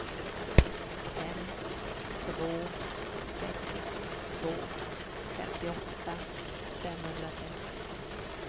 fem två sex två femtioåtta femhundratrettio